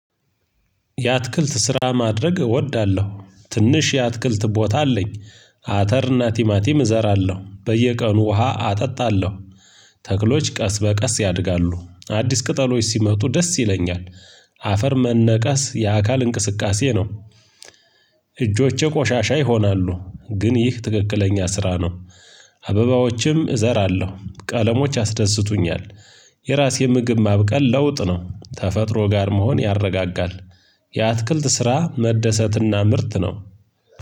የአትክልት ስራ ማድረግ እወዳለሁ ትንሽ የአትክልት ቦታ አለኝ። አተር እና ቲማቲም እዘራለሁ በየቀኑ ውሃ አጠጣለሁ። ተክሎች ቀስ በቀስ ያድጋሉ አዲስ ቅጠሎች ሲመጡ ደስ ይለኛል። አፈር መነቀስ የአካል እንቅስቃሴ ነው። እጆቼ ቆሻሻ ይሆናሉ ግን ይህ ትክክለኛ ስራ ነው። አበባዎችም እዘራለሁ ቀለሞች ያስደስቱኛል። የራሴ ምግብ ማብቀል ለውጥ ነው ተፈጥሮ ጋር መሆን ያረጋጋል። የአትክልት ስራ መደሰትና ምርት ነው።